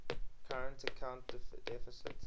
current account deficit